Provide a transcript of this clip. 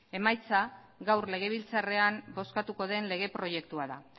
emaitza gaur legebiltzarrean bozkatuko den lege proiektua da